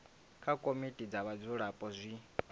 kha komiti dza vhadzulapo zwi